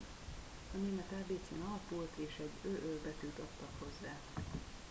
a német ábécén alapult és egy õ/õ” betűt adtak hozzá